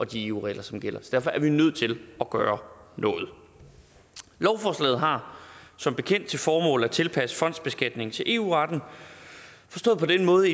de eu regler som gælder så derfor er vi nødt til at gøre noget lovforslaget har som bekendt til formål at tilpasse fondsbeskatningen til eu retten forstået på den måde